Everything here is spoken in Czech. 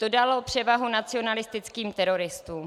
To dalo převahu nacionalistickým teroristům.